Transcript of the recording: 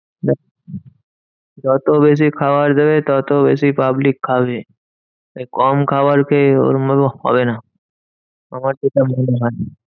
যত বেশি খাবার দেবে তত বেশি public খাবে। তাই কম খাবার খেয়ে ওরম ভাবে হবে না। আমার যেটা মনে হয়।